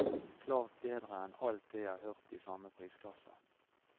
Klart bedre enn alt det jeg har hørt i samme prisklasse.